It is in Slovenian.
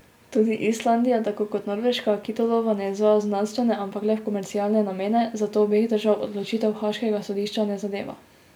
Tudi Islandija, tako kot Norveška, kitolova ne izvaja v znanstvene, ampak le v komercialne namene, zato obeh držav odločitev haaškega sodišča ne zadeva.